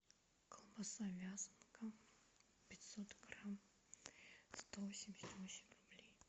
колбаса вязанка пятьсот грамм сто восемьдесят восемь рублей